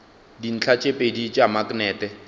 dintlha tše pedi tša maknete